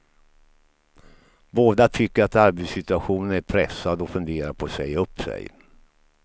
Båda tycker att arbetssituationen är pressad och funderar på att säga upp sig.